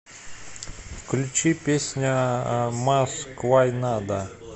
включи песня мас квай нада